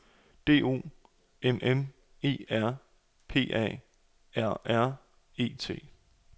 D O M M E R P A R R E T